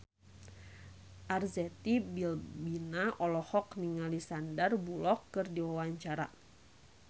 Arzetti Bilbina olohok ningali Sandar Bullock keur diwawancara